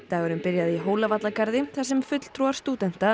dagurinn byrjaði í Hólavallagarði þar sem fulltrúar